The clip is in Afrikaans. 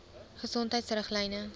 gesondheidriglyne